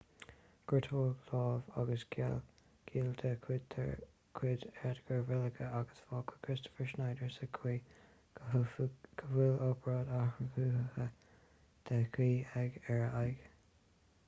gortaíodh lámh agus giall de chuid edgar veguilla agus fágadh kristoffer schneider sa chaoi go bhfuil obráid athchruthaitheach de dhíth ar a aghaidh